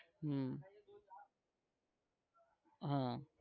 હમ હા